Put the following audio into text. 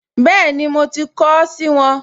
Bẹ́ẹ̀ni, mo ti kọ ọ́ sì wọn